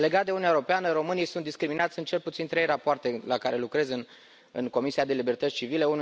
Legat de Uniunea Europeană, românii sunt discriminați în cel puțin trei rapoarte la care lucrez în Comisia pentru libertăți civile.